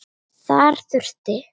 Þar þurfti